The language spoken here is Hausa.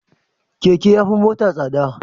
Keke yafi mota tsada